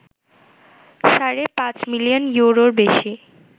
সাড়ে ৫ মিলিয়ন ইউরোর বেশি